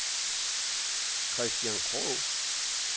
Christian Krog